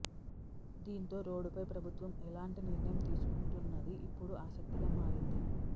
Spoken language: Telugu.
దీంతో రోడ్డుపై ప్రభుత్వం ఎలాంటి నిర్ణయం తీసుకుంటున్నది ఇప్పుడు ఆసక్తిగా మారింది